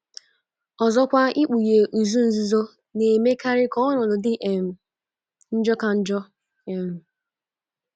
Ọzọkwa, ikpughe “ izu nzuzo ” na - emekarị ka ọnọdụ dị um njọ ka njọ um.